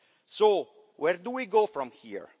So where do we go from here?